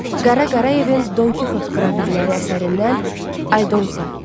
Qara Qarayevin Don Kixot qravürləri əsərindən Aldonsa.